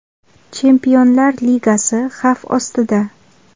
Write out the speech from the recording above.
Chempionlar ligasi xavf ostida.